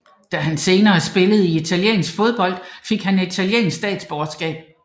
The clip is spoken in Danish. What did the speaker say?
Da han senere spillede i italiensk fodbold fik han italiensk statsborgerskab